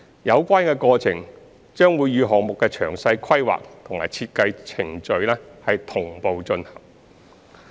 有關過程將會與項目的詳細規劃及設計程序同步進行。